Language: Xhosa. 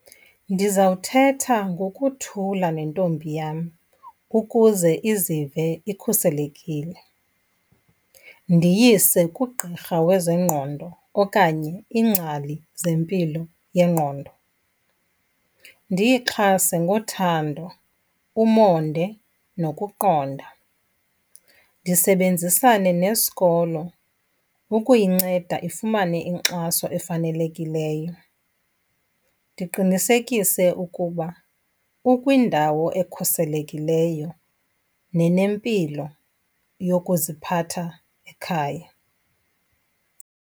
Ndizawuthetha ngokuthula nentombi yam ukuze izive ikhuselekile. Ndiyise kugqirha wezengqondo okanye iingcali zempilo yengqondo. Ndiyixhase ngothando, umonde nokuqonda. Ndisebenzisane nesikolo ukuyinceda ifumane inkxaso efanelekileyo. Ndiqinisekise ukuba ukwindawo ekhuselekileyo nenempilo yokuziphatha ekhaya.